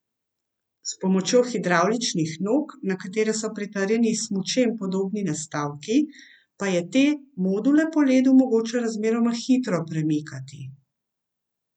S pomočjo hidravličnih nog, na katere so pritrjeni smučem podobni nastavki, pa je te module po ledu mogoče razmeroma hitro premikati.